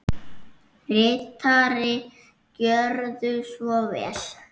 Ritari Gjörðu svo vel.